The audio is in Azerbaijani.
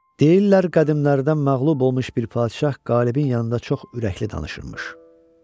Deyirlər qədimlərdən məğlub olmuş bir padşah qalibin yanında çox ürəkli danışırmış.